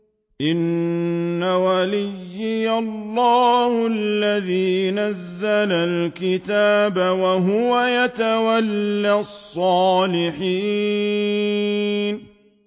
إِنَّ وَلِيِّيَ اللَّهُ الَّذِي نَزَّلَ الْكِتَابَ ۖ وَهُوَ يَتَوَلَّى الصَّالِحِينَ